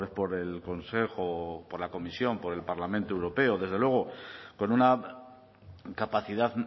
por el consejo por la comisión por el parlamento europeo desde luego con una capacidad